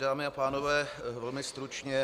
Dámy a pánové, velmi stručně.